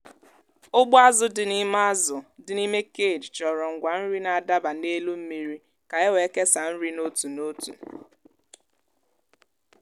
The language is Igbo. ụgbọ azụ dị n'ime azụ dị n'ime cage chọrọ ngwa nri na-adaba n’elu mmiri ka e wee kesaa nri n’otu n’otu.